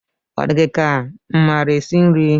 Ọ di gị ka m maara esi nri?